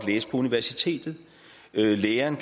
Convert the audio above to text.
læse på universitetet eller at læreren